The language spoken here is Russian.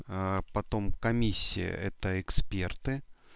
потом комиссия это эксперты